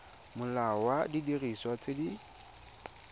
molao wa didiriswa tse di